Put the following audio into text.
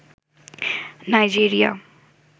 Nigeria